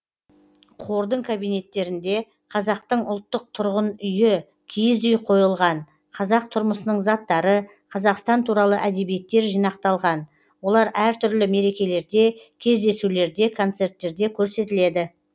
қордың кабинеттерінде қазақтың ұлттық тұрғын үйі киіз үй қойылған қазақ тұрмысының заттары қазақстан туралы әдебиеттер жинақталған олар әртүрлі мерекелерде кездесулерде концерттерде көрсетіледі